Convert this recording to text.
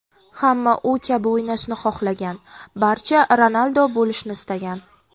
Hamma u kabi o‘ynashni xohlagan, barcha Ronaldo bo‘lishni istagan.